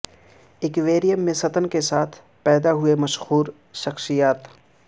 aquarium میں ستن کے ساتھ پیدا ہوئے مشہور شخصیات